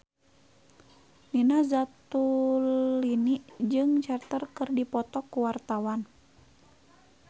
Nina Zatulini jeung Cher keur dipoto ku wartawan